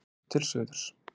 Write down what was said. Horft til suðurs.